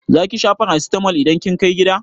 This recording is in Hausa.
Zaki sha farasitamol idan kin kai gida?